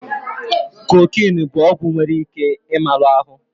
Kokinu bụ ọgwụ nwere ike ị malu ahụ